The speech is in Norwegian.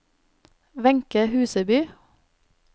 Wenche Huseby